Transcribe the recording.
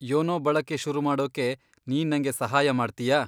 YONO ಬಳಕೆ ಶುರುಮಾಡೋಕೆ ನೀನ್ ನಂಗೆ ಸಹಾಯ ಮಾಡ್ತೀಯಾ?